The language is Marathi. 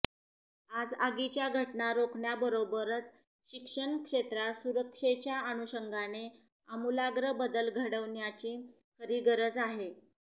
आज आगीच्या घटना रोखण्याबरोबरच शिक्षण क्षेत्रात सुरक्षेच्या अनुषंगाने आमूलाग्र बदल घडवण्याची खरी गरज आहे